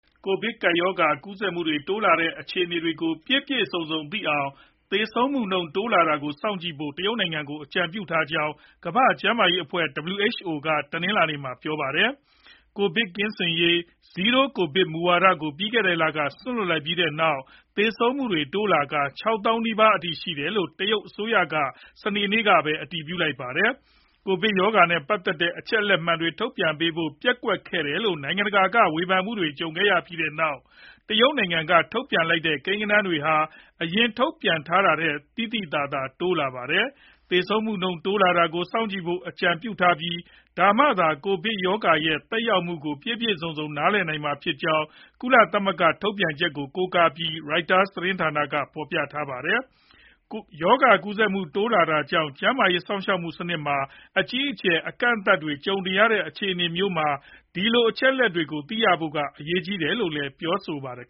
ကိုဗစ်ကပ်ရောဂါကူးစက်မှုတိုးလာနေတဲ့အခြေအနေကို ပြည့်ပြည့်စုံစုံသိနိုင်အောင် သေဆုံးမှုနှုန်းတိုးလာတာကို စောင့်ကြည့်ဖို့ တရုတ်နိုင်ငံကိုအကြံပြုထားကြောင်း ကမ္ဘာ့ကျန်းမာရေးအဖွဲ့ WHO က တနင်္လာနေ့မှာ ပြောပါတယ်။ ကိုဗစ်လုံးဝကင်းစင်ရေး Zero Covid မူဝါဒကို ပြီးခဲ့တဲ့လက စွန့်လွှတ်လိုက်ပြီးနောက် သေဆုံးသူတွေတိုးလာကာ ၆ သောင်းနီးပါးအထိရှိတယ်လို့ တရုတ်အစိုးရက စနေနေ့မှာပဲ အတည်ပြုထားပါတယ်။ ကိုဗစ်ရောဂါနဲ့ပတ်သက်တဲ့ အချက်အလက်အမှန်တွေ ထုတ်ပြန်ပေးဖို့ ပျက်ကွက်တယ်လို့ နိုင်ငံတကာက ဝေဖန်မှုတွေကြုံခဲ့ရပြီးနောက် တရုတ်နိုင်ငံကထုတ်ပြန်လိုက်တဲ့ ကိန်းဂဏန်းတွေဟာ အရင်ထုတ်ပြန်ထားတာထက် သိသိသာသာတိုးလာခဲ့တာပါ။ သေဆုံးမှုနှုန်းတိုးလာတာကိုစောင့်ကြည့်ဖို့ အကြံပြုထားပြီး ဒါမှသာ ကိုဗစ်ရောဂါရဲ့သက်ရောက်မှုကို ပြည့်ပြည့်စုံစုံ နားလည်နိုင်မှာဖြစ်ကြောင်း ကုလသမဂ္ဂရဲ့ထုတ်ပြန်ချက်ကို ကိုးကားပြီး Reuters သတင်းက ဖော်ပြပါတယ်။ ရောဂါကူးစက်မှုတွေတိုးလာနေတာကြောင့် ကျန်းမာရေး စောင့်ရှောက်မှုစနစ်မှာ အကြီးအကျယ်အကန့်အသတ်တွေ ကြုံရတဲ့ အခြေအနေမျိုးမှာ ဒီလိုအချက်အလက်တွေကိုသိရဖို့က အရေးကြီးတယ်လို့လည်း ပြောပါတယ်။